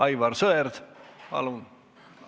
Aivar Sõerd, palun!